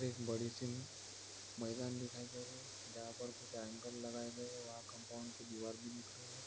एक बड़ी सी मैदान दिखाई दे रही हे जहा पर एंगल लगाए गये है वहा कंपाउंड की दीवार भी दिख रही हैं ।